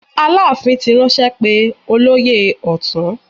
Aláàfin ti ránṣẹ́ pé olóyè ọ̀tún.